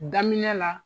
Daminɛ la